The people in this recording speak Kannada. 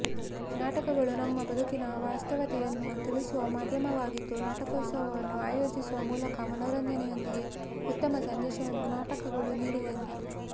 ನಾಟಕಗಳು ನಮ್ಮ ಬದುಕಿನ ವಾಸ್ತವತೆಯನ್ನು ತಿಳಿಸುವ ಮಾಧ್ಯಮವಾಗಿದ್ದು ನಾಟಕೋತ್ಸವವನ್ನು ಆಯೋಜಿಸುವ ಮೂಲಕ ಮನೋರಂಜನೆಯೊಂದಿಗೆ ಉತ್ತಮ ಸಂದೇಶವನ್ನು ನಾಟಕಗಳು ನೀಡಿದೆ ಎಂದರು